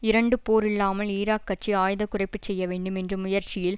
இரண்டு போர் இல்லாமல் ஈராக் ஆட்சி ஆயுத குறைப்புச் செய்யவேண்டும் என்ற முயற்சியில்